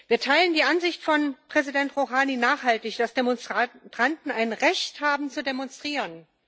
Wir teilen die Ansicht von Präsident Rouhani nachhaltig, dass Demonstranten ein Recht haben zu demonstrieren.